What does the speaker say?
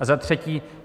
A za třetí.